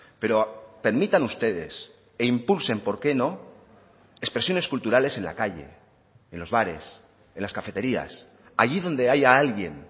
pero permitan ustedes e impulsen por qué no expresiones culturales en la calle en los bares en las cafeterías allí donde haya alguien